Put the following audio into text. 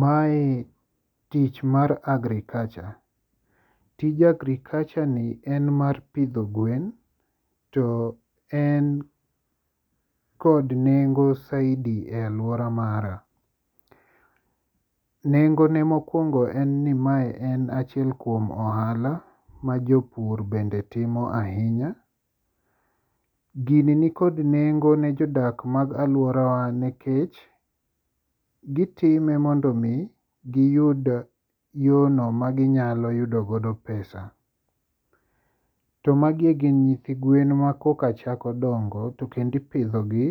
Mae tich mar agriculture, tij agriculture ni en mar pidho gwen to en kod nengo saidi e alwora mara. Nengone mokwongo en ni mae en achiel kuom ohala ma jopur bende timo ahinya. Gini nikod nengo ne jodak mag alworawa nikech gitime mondo omi giyud yono maginyalo yudogodo pesa. To magi gin nyithi gwen makoka chako dongo to kendipidhogi